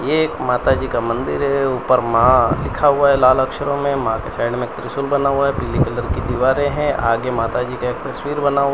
ये एक माताजी का मंदिर है ऊपर मां लिखा हुआ है लाल अक्षरों में मां के साइड में त्रिशूल बना हुआ है पीले कलर की दीवारें हैं आगे माता जी का एक तस्वीर बना हुआ --